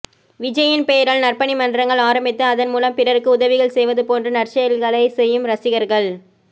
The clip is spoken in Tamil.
விஜயின் பெயரால் நற்பணிமன்றங்கள் ஆரம்பித்து அதன் மூலம் பிறருக்கு உதவிகள் செய்வது போன்ற நற்செயல்களை செய்யும் ரசிகர்கள்